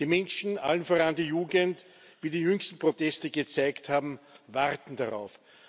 Die Menschen, allen voran die Jugend, wie die jüngsten Proteste gezeigt haben, warten darauf.